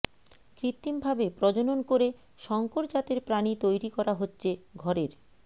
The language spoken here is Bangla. কৃত্রিমভাবে প্রজনন করে সংকর জাতের প্রাণী তৈরি করা হচ্ছে ঘরের